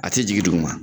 A tɛ jigin duguma